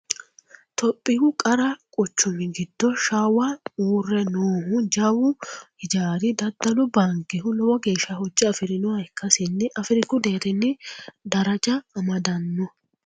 Tophiyu qaru quchumi giddo shawa uurre noohu jawu hijaari daddalu baankehu lowo geeshsha hoja afirinoho ikkasinni Afiriku deerrinni daraja amadano.